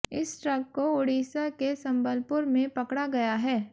इस ट्रक को उड़ीसा के संबलपुर में पकड़ा गया है